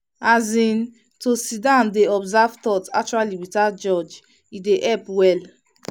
as in to sit still dey observe thoughts actually without judge e help well.